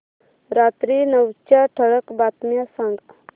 रात्री नऊच्या ठळक बातम्या सांग